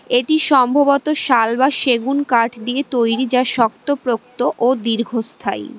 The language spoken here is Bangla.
এটি সম্ভবত শাল বা সেগুন কাঠ দিয়ে তৈরি যা শক্তপোক্ত ও দীর্ঘস্থায়ী।